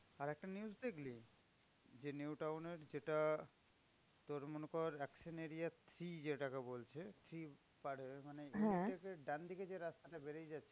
আরেকটা news দেখলি? যে নিউ টাউন এর যেটা তোর মনে কর এক শ্রেণীর ইয়ে যেটাকে বলছে মানে এগুলো হচ্ছে ডানদিকে যে রাস্তাটা বেরিয়ে যাচ্ছে,